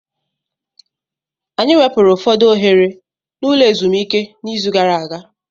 Anyị wepụrụ ụfọdụ oghere n'ụlọ ezumike n'izu gara aga.